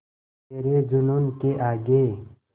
तेरे जूनून के आगे